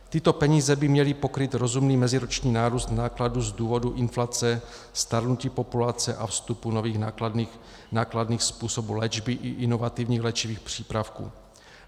Tyto peníze by měly pokrýt rozumný meziroční nárůst nákladů z důvodu inflace, stárnutí populace a vstupu nových, nákladných způsobů léčby i inovativních léčivých přípravků.